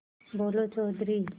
बोलो चौधरी